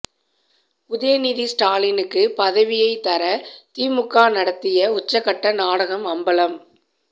உதயநிதி ஸ்டாலினுக்கு பதவியை தர திமுக நடத்திய உச்சகட்ட நாடகம் அம்பலம்